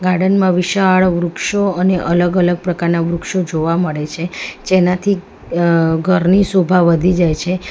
Garden માં વિશાળ વૃક્ષો અને અલગ અલગ પ્રકારનાં વૃક્ષો જોવા મળે છે જેનાથી અં ઘરની શોભા વધી જાય છે.